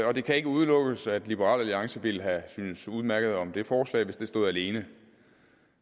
og det kan ikke udelukkes at liberal alliance ville have syntes udmærket om det forslag hvis det stod alene